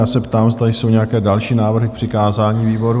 Já se ptám, zda jsou nějaké další návrhy k přikázání výborům?